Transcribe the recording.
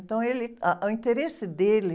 Então, ele, ah, o interesse dele,